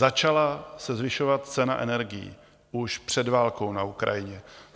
Začala se zvyšovat cena energií už před válkou na Ukrajině.